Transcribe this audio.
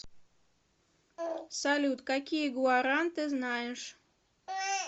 салют какие гуаран ты знаешь